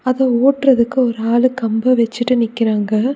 அது ஒட்டுறதுக்கு ஒரு ஆளு கம்பு வச்சிட்டு நிக்குறாங்க.